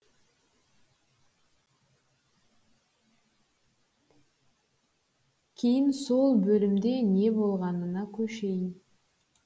кейін сол бөлімде не болғанына көшейін